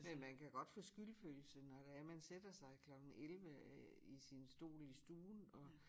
Men man kan godt få skyldfølelse når det er man sætter sig klokken 11 øh i sin stol i stuen og